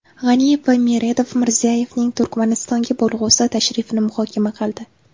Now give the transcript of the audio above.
G‘aniyev va Meredov Mirziyoyevning Turkmanistonga bo‘lg‘usi tashrifini muhokama qildi.